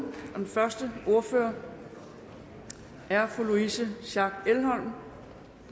den første ordfører er fru louise schack elholm der